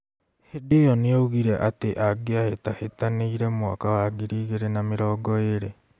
Hindi ĩyo nĩaugire atĩ angĩahĩtahĩtanĩire mwaka wa ngiri igĩri na mĩrongo ĩrĩ